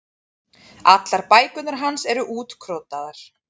Allar bækurnar hans eru útkrotaðar.